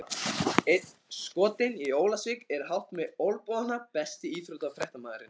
Einn skotinn í Ólafsvík er hátt með olnbogana Besti íþróttafréttamaðurinn?